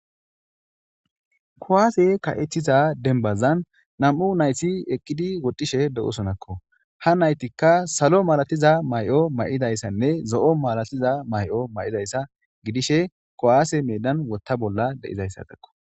kuwaase ka'etiza denbazan nam'u nayti eqqidi woxishe de'osonakko ha naytikka salo malatiza mayo mayidayssanne zo'o malatiza mayo maidayssa gidishe kowaase medan wotta bolla de'izayssatakko